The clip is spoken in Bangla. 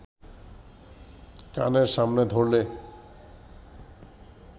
কানের সামনে ধরলে